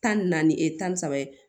Tan ni naani e tan ni saba ye